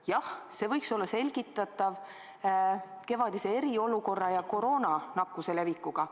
Jah, see võis olla selgitatav kevadise eriolukorra ja koroonanakkuse levikuga.